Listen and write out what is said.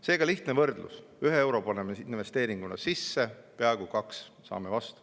Seega, lihtne võrdlus: ühe euro paneme investeeringuna sisse, peaaegu kaks saame vastu.